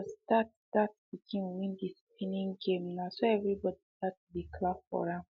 as that that pikin win the spinning game na so everybody start to dey clap for am